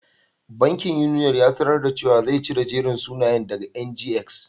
Bankin Union ya sanar da cewa zai cire jerin sunayen daga NGX.